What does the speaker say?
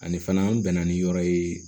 Ani fana n bɛnna ni yɔrɔ ye